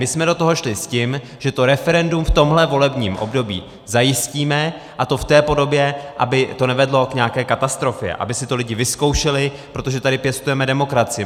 My jsme do toho šli s tím, že to referendum v tomhle volebním období zajistíme, a to v té podobě, aby to nevedlo k nějaké katastrofě, aby si to lidi vyzkoušeli, protože tady pěstujeme demokracii.